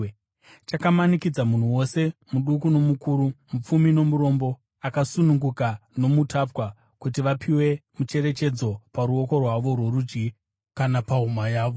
Chakamanikidza munhu wose, muduku nomukuru, mupfumi nomurombo, akasununguka nomutapwa, kuti vapiwe mucherechedzo paruoko rwavo rworudyi kana pahuma yavo,